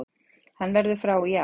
Hann verður frá í ár.